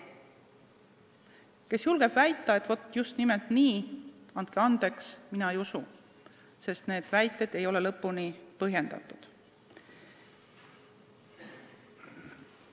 Kui keegi julgeb väita, et vaat just nimelt nii, siis, andke andeks, mina ei usu, sest need väited ei ole lõpuni põhjendatud.